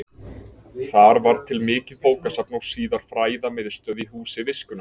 Þar varð til mikið bókasafn og síðar fræðamiðstöð í Húsi viskunnar.